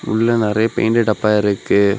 உள்ள நறைய பெயிண்ட்டப்பா இருக்கு.